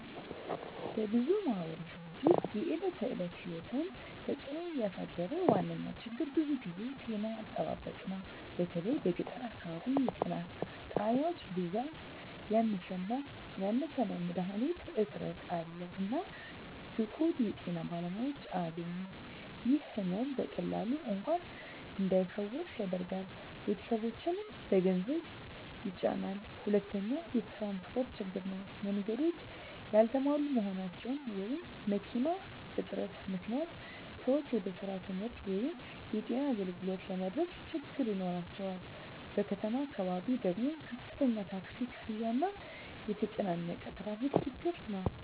በብዙ ማኅበረሰቦች ውስጥ የዕለት ተዕለት ሕይወትን እየተጽእኖ ያሳደረ ዋነኛ ችግር ብዙ ጊዜ ጤና አጠባበቅ ነው። በተለይ በገጠር አካባቢ የጤና ጣቢያዎች ብዛት ያነሰ ነው፣ መድሀኒት እጥረት አለ፣ እና ብቁ የጤና ባለሙያዎች አያገኙም። ይህ ሕመም በቀላሉ እንኳን እንዳይፈወስ ያደርጋል፣ ቤተሰቦችንም በገንዘብ ይጫናል። ሁለተኛው ትራንስፖርት ችግር ነው። መንገዶች ያልተሟሉ መሆናቸው ወይም መኪና እጥረት ምክንያት ሰዎች ወደ ስራ፣ ትምህርት ወይም የጤና አገልግሎት ለመድረስ ችግኝ ይኖራቸዋል። በከተማ አካባቢ ደግሞ ከፍተኛ ታክሲ ክፍያ እና የተጨናነቀ ትራፊክ ችግር ነው።